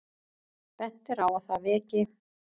Bent er á að það veki